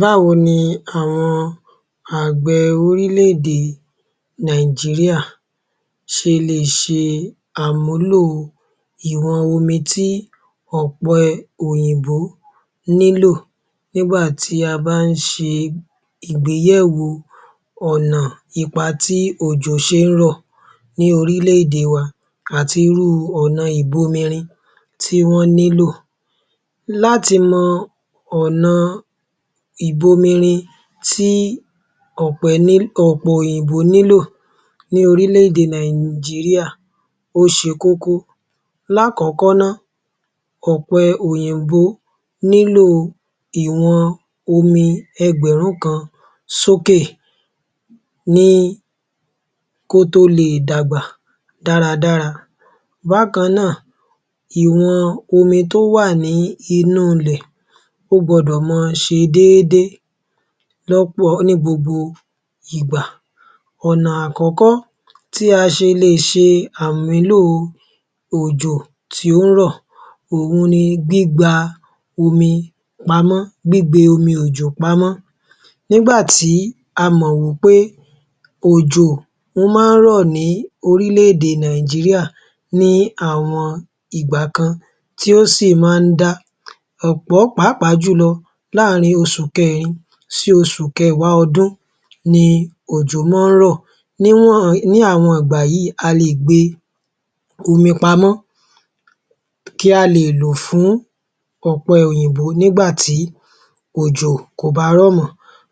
Báwo ni àwọn àgbẹ̀ orílẹ̀ -èdè Nàìjíríà ṣe lè ṣe àmúlò ìwọn omi ti ọ̀pẹ òyìnbó nílò nígbà tí a bá ń ṣe ìgbéyèwò ọ̀nà ipa tí òjò ṣe ń rọ̀ ní orílẹ̀-èdè wa àti irú ọ̀nà ìbomirin tí wọ́n nílò. Láti mọ ọ̀nà ìbomirin tí ọ̀pe òyìnbó nílò ní orílẹ̀-èdè Nàìjíríà ó ṣe kókó. Lákọ̀ọ́kọ́ náa, ọ̀pẹ òyìnbó nílò ìwọn omi ẹgbẹ̀rún kan sókè kí ó tó le è dàgbà dáradára. Bákan náà, ìwọn omi tó wà nínú ilẹ̀ o gbọ́dọ̀ ma ṣe déédé ní gbogbo ìgbà. Ọ̀na àkọ́kọ́ tí a ṣe le è ṣe àmúlò òjò tí ó ń rọ̀, òhun ni gbígbe omi òjò pamọ́. Nígbà tí a mọ̀ wí pé òjò ó má ń rọ̀ ní orílẹ̀ -èdè Nàìjíríà ní àwọn ìgbà kan tí ó sì ma ń dá pàápàá jùlọ láàárín oṣù kẹ́rin sí oṣù kẹwàá ọdún ni òjò má ń rọ̀. Ní àwọn ìgbà yí, a lè gbe omi òjò pamọ́ kí a lè lò ó fún ọ̀pẹ òyìnbó nígbà tí òjò kò bá rọ̀ mọ́.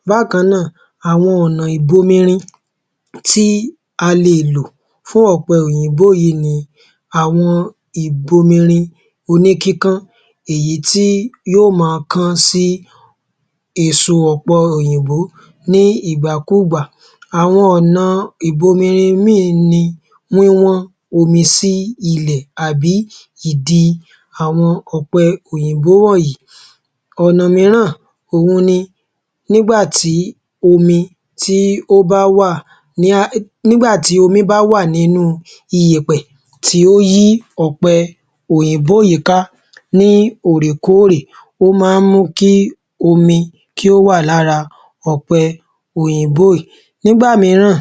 Bákan náà, àwọn ọ̀na ìbomirin tí a lè lò fún ọ̀pẹ òyìnbó yìí ni àwọn ìbomirin o ní kíkán, èyí tí yóò ma kán sí èso ọ̀pẹ òyìnbó ní ìgbàkúùgbà. Àwọn ọ̀nà ìbomirin míràn ni wíwọ́n omi sí ilẹ̀ àbí ìdí àwọn ọ̀pẹ òyìnbó wọ̀nyí. Ọ̀nà míràn òhun ni, nígbà tí omi bá wà nínú iyẹ̀pẹ̀ tí ó yí ọ̀pẹ òyìnbó yìí ká ní òrèkóòrè, ó má ń mú kí omi kí ó wà lára ọ̀pẹ òyìnbó yìí. Nígbà míràn,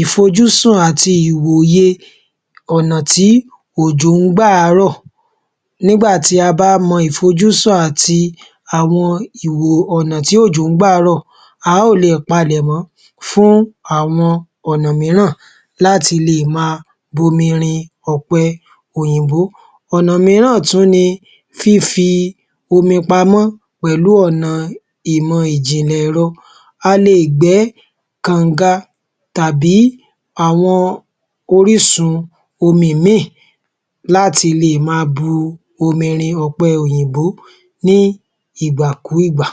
ìfojúsùn àti ìwòye ọ̀nà tí òjò ń gbà á rọ̀. Nígbà tí a bá mọ ìfojúsùn àti àwọn ìwò ọ̀nà tí òjò ń gbà á rọ̀, a ó lè palẹ̀mọ́ fún àwọn ọ̀nà míràn láti lè máa bomirin ọ̀pẹ òyìnbó. Ọ̀nà míràn tún ni fífi omi pamọ́ pẹ̀lú ọ̀nà ìmọ̀ ìjiǹlẹ̀-ẹ̀rọ, a le è gbẹ́ kànga tàbí àwọn orísun omi ìmíì láti lè má a bu omi rin ọ̀pẹ òyìnbó ní ìgbàkúùgbà.